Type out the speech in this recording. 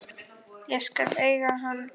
Ég skal eiga hann.